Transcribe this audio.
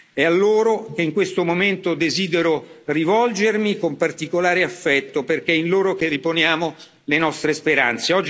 È a loro che in questo momento desidero rivolgermi con particolare affetto perché è in loro che riponiamo le nostre speranze.